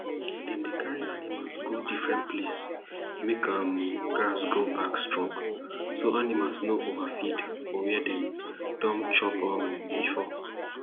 dem dey carry animal go different place make um grass grow back strong so animal no overfeed for where dem don chop um before